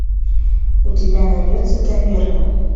у тебя найдется таверна